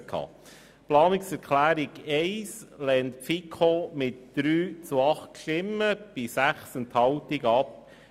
Die FiKo lehnt die Planungserklärung 1 mit 3 zu 8 Stimmen bei 6 Enthaltungen ab.